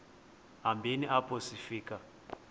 hambeni apho sifika